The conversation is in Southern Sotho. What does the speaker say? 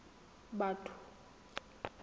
batho